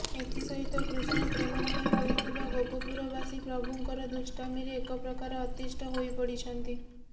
ଏଥିସହିତ କୃଷ୍ଣ ପ୍ରେମମୟ ହୋଇଥିବା ଗୋପପୁରବାସୀ ପ୍ରଭୁଙ୍କର ଦୁଷ୍ଟାମୀରେ ଏକପ୍ରକାର ଅତିଷ୍ଠ ହୋଇପଡିଛନ୍ତି